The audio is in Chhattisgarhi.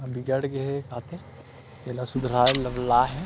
बिगड़ गे हे तेला सुधारवाये ल लाये हे।